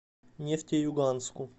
нефтеюганску